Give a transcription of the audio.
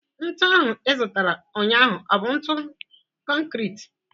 Ntụ ahụ ị zụtara ụnyaahụ ọ bụ ntụ konkrit?